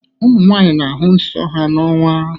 Ụmụnwanyị na ahụ nsọ ha n' ọnwa.